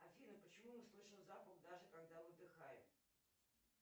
афина почему мы слышим запах даже когда выдыхаем